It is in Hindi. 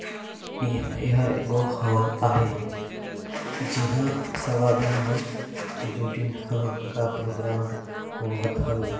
ए एहर एगो हॉल आहे इहा सब आदमी मन ड्यूटी हाँ का प्रोग्राम होवत हे।